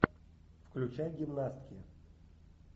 включай гимнастки